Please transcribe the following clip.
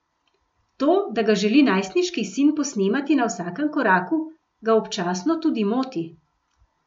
To, da ga želi najstniški sin posnemati na vsakem koraku, ga občasno tudi moti.